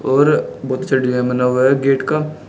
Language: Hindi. और बहुत अच्छा डिजाइन बना हुआ है गेट का।